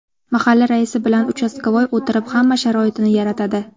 Mahalla raisi bilan ‘uchastkavoy’ o‘tirib, hamma sharoitini yaratadi.